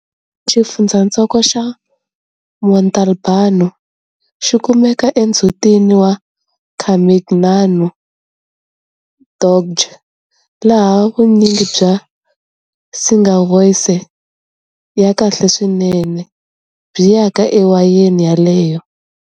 Xifundzhantsongo xa Montalbano xi kumeka endzhutini wa Carmignano DOCG, laha vunyingi bya Sangiovese ya kahle swinene byi yaka ewayeni yaleyo.